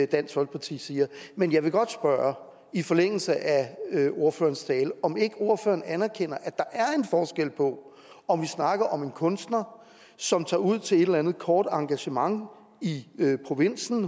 dansk folkeparti siger men jeg vil godt spørge i forlængelse af ordførerens tale om ikke ordføreren anerkender at der er en forskel på om vi snakker om en kunstner som tager ud til et eller andet kort engagement i provinsen